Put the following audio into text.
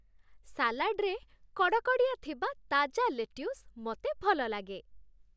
ସାଲାଡ଼୍‌ରେ କଡ଼କଡ଼ିଆ ଥିବା ତାଜା ଲେଟ୍ୟୁସ ମୋତେ ଭଲଲାଗେ।